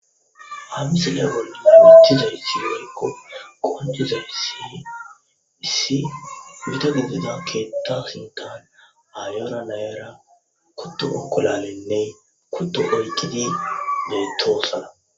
Ha misile bolla besizayssi woykko qonccisizayssi issi gita gidida keeththappe sinththan aayora na7aranne kutto unqqulaalenne kutto oyqidi beetoosona.